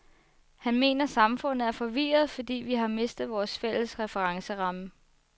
Han mener samfundet er forvirret, fordi vi har mistet vor fælles referenceramme.